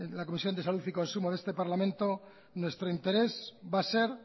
la comisión de salud y consumo de este parlamento nuestro interés va a ser